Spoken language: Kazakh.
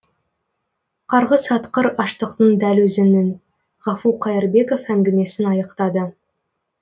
қарғыс атқыр аштықтың дәл өзінің ғафу қайырбеков әңгімесін аяқтады